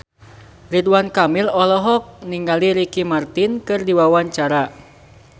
Ridwan Kamil olohok ningali Ricky Martin keur diwawancara